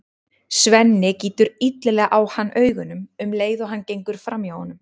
Svenni gýtur illilega á hann augunum um leið og hann gengur fram hjá honum.